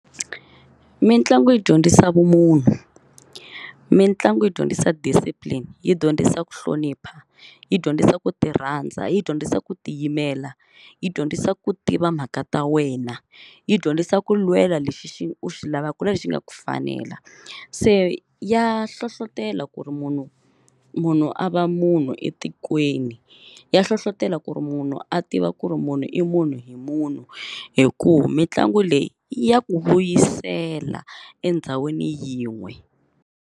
Mitlangu yi dyondzisa vumunhu, mitlangu yi dyondzisa discipline, yi dyondzisa ku hlonipha, yi dyondzisa ku ti rhandza, yi dyondzisa ku tiyimela, yi dyondzisa ku tiva mhaka ta wena, yi dyondzisa ku lwela lexi u xi lavaka ku na lexi nga ku fanela. Se ya hlohlotelo ku ri munhu munhu a va munhu etikweni, ya hlohlotelo ku ri munhu a tiva ku ri munhu i munhu hi munhu hikuva mitlangu leyi ya ku vuyisela endhawini yin'we.